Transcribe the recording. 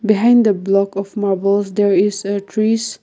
behind the block of marbles there is a trees--